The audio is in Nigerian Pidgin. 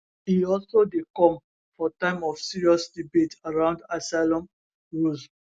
e also dey come for time of serious debate around asylum rules